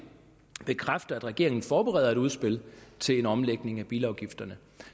bekræfter at regeringen forbereder et udspil til en omlægning af bilafgifterne